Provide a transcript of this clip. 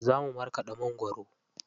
Za mu markaɗa mangwaro.